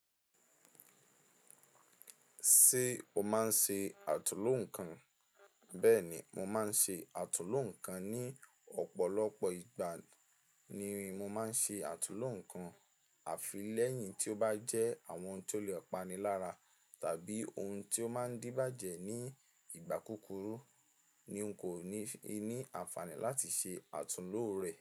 Ṣé o máa ń ṣe àtúnlo nǹkan? Bẹ́ẹ̀ni, mo máa ń ṣe àtúnlo nǹkan ní ọ̀pọ̀lọpọ̀ ìgbà ni mo máa ń ṣe àtúnlo nǹkan. Àfi lẹ́yìn tí ó bá jẹ́ àwọn ti ó lè pani lára tàbí ohun tí ó máa ń díbàjẹ́ ní ìgbà kúkúrú ni n kò ní fi ní àǹfààní láti ṣe àtúnlo rẹ̀